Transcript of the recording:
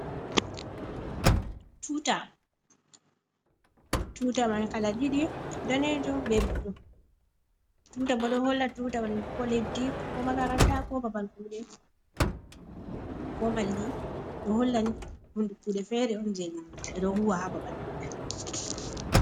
Tuta man kala didi danejum be blu, tuta bo ɗo holla tuta mal ko leddi ko makaranta ko babal kuɗe, ko maldi ɗo hollani hunde kude fere on je ɗo huwa ha babal maɓɓe.